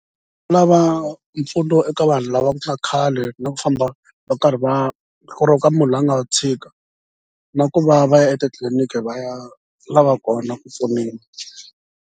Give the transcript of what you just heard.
Lava mpfuno eka vanhu lava ka khale na ku famba va karhi va munhu loyi a nga tshika na ku va va ya etitliliniki va ya lava kona ku pfuniwa.